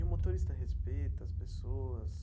E o motorista respeita as pessoas?